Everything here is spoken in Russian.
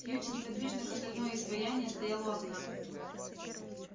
кьюти неподвижно как стальное изваяние стоял у окна